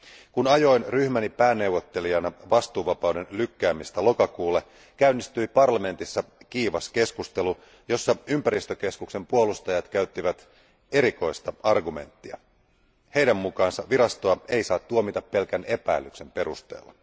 Kun ajoin ryhmäni pääneuvottelijana vastuuvapauden lykkäämistä lokakuulle, käynnistyi parlamentissa kiivas keskustelu, jossa ympäristökeskuksen puolustajat käyttivät erikoista argumenttia heidän mukaansa virastoa ei saa tuomita pelkän epäilyksen perusteella.